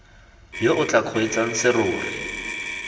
yo o tla kgweetsang serori